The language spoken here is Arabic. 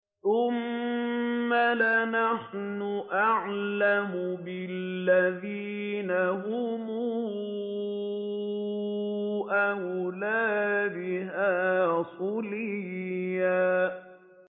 ثُمَّ لَنَحْنُ أَعْلَمُ بِالَّذِينَ هُمْ أَوْلَىٰ بِهَا صِلِيًّا